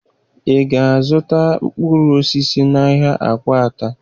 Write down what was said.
Ị ga-azụta mkpụrụ osisi n'ahịa Akwata?